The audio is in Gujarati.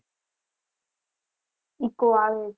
ઇકો આવે